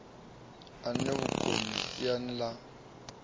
e na vhukoni siani ḽa